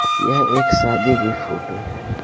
यह एक शादी की फोटो है।